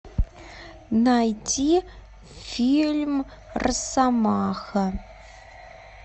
найти фильм россомаха